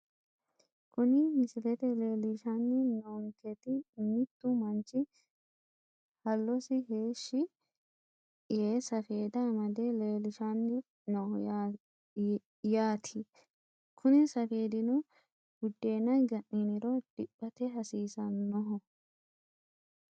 Kuni misilete leelishani noonketi mittu manchi hallosi heeshi yee safeeda amade leelishani no yaati kuni safeedino budeena ga`niniro diphate hasiisanoho.